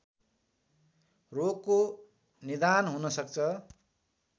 रोगको निदान हुन सक्छ